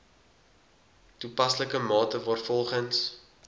toepaslike mate waarvolgens